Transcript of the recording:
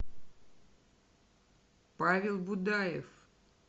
павел будаев